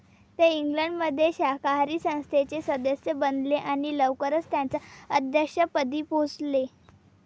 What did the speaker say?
ते इंग्लंडमध्ये शाकाहारी संस्थेचे सदस्य बनले आणि लवकरच त्याच्या अध्यक्षपदी पोहोचले.